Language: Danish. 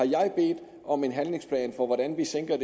jeg bedt om en handlingsplan for hvordan vi sænker